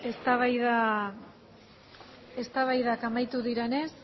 eztabaidak amaitu direnez